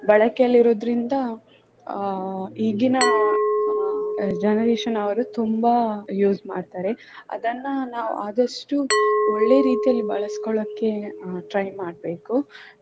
ಬಳಕೆಯಲ್ಲಿರುವುದರಿಂದ ಈಗಿನ generation ಅವರು ತುಂಬಾ use ಮಾಡ್ತಾರೆ ಅದನ್ನ ನಾವು ಆದಷ್ಟು ಒಳ್ಳೆ ರೀತಿಯಲ್ಲಿ ಬಳಸ್ಕೊಳ್ಳೋಕೆ ಅಹ್ try ಮಾಡ್ಬೇಕು.